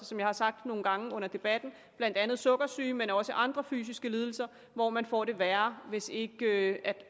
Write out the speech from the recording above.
som jeg har sagt nogle gange under debatten sukkersyge men også andre fysiske lidelser hvor man får det værre hvis ikke